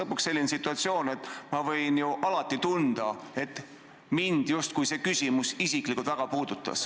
Kui ei ole, siis ma võin ju alati tunda, et mind justkui mingi küsimus isiklikult väga puudutas.